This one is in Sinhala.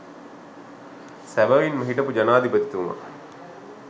සැබැවින්ම හිටපු ජනාධිපතිතුමා